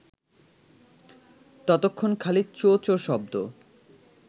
ততক্ষণ খালি চোঁ-চোঁ শব্দ